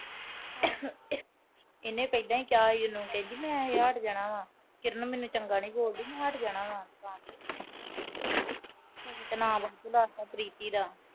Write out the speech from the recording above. ਇਹਨੇ ਪਹਿਲਾਂ ਹੀ ਕਿਹਾ ਸੀ ਉਹਨੂੰ ਮੈਂ ਹੱਟ ਜਾਣਾ। ਕਿਰਨ ਮੈਨੂੰ ਚੰਗਾ ਨੀ ਬੋਲਦੀ ਮੈਂ ਹੱਟ ਜਾਣਾ ਤੇੇ ਨਾਮ ਉਹਦਾ ਲਾਤਾ ਪ੍ਰੀਤੀ ਦਾ।